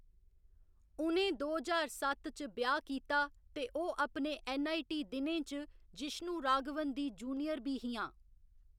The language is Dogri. उ'नें दो ज्हार सत्त च ब्याह्‌‌ कीता ते ओह्‌‌ अपने ऐन्न. आई. टी. दिनें च जिश्णु राघवन दी जूनियर बी हियां।